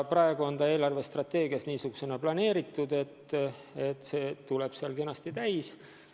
Praegu on riigieelarve strateegias niimoodi planeeritud, et see summa tuleb kenasti täis.